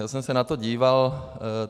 Já jsem se na to díval.